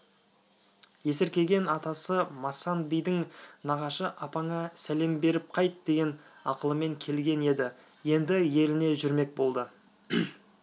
есіркеген атасы масан бидің нағашы апаңа сәлем беріп қайт деген ақылымен келген еді енді еліне жүрмек болды